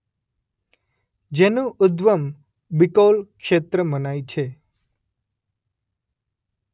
જેનું ઉદ્ગમ બીકોલ ક્ષેત્ર મનાય છે.